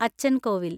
അച്ചൻ കോവിൽ